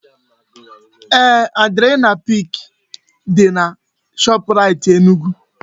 Eeh, adrenaline pik dị na Shoprait Enugu